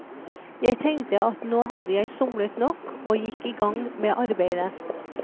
Jeg tenkte at nå hadde jeg somlet nok, og gikk igang med arbeidet.